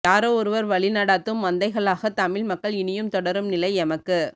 யாரோஒருவர் வழி நடாத்தும் மந்தைகளாக தமிழ் மக்கள் இனியும் தொடரும் நிலை எமக்கு